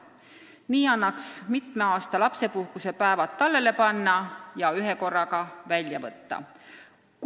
Nii annaks mitme aasta lapsepuhkuse päevad tallele panna ja ühekorraga välja võtta.